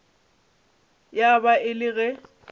ya ba e le ge